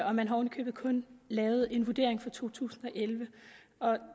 og man har oven i købet kun lavet en vurdering for to tusind og elleve